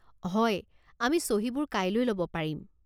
হয়, আমি চহীবোৰ কাইলৈ ল'ব পাৰিম।